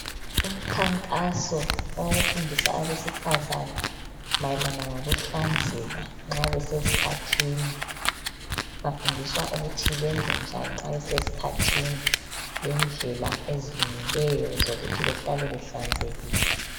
umkhankaso owokufundisa abesifazana mayelana ngokuhlanzeka nxabesesikhathini bafundiswa ukuthi benzenjani nxabesesikhathini lendlela ezilungileyo zokuthi behlale behlanzekile